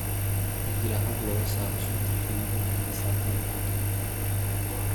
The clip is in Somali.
Waxaa jira hab looga saaro sunta xididdada kasaafada.